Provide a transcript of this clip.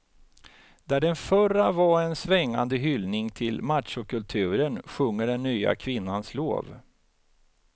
Där den förra var en svängande hyllning till machokulturen sjunger den nya kvinnans lov.